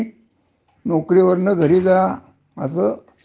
म्हणजे थोडस काय होत, खाजगी क्षेत्रात पगार जास्त आहे.